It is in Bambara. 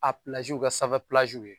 A kɛ sanfɛ ye